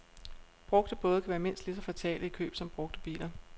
Brugte både kan være mindst lige så fatale i køb som brugte biler.